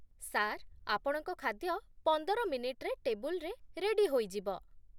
Sir, ଆପଣଙ୍କ ଖାଦ୍ୟ ପନ୍ଦର ମିନିଟ୍‌ରେ ଟେବୁଲରେ ରେଡି ହୋଇଯିବ।